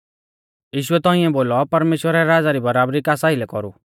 यीशुऐ तौंइऐ बोलौ परमेश्‍वरा रै राज़ा री बराबरी कास आइलै कौरु